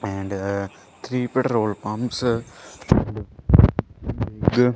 and uh three petrol pumps .